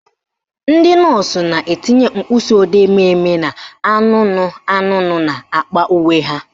Ndị nọọsụ na-etinye mkpịsịodee mmemme na anụnụ anụnụ n'akpa uwe ha